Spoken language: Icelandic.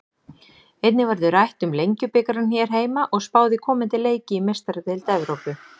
Einnig verður rætt um Lengjubikarinn hér heima og spáð í komandi leiki í Meistaradeild Evrópu.